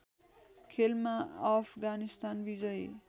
खेलमा अफगानिस्तान विजयी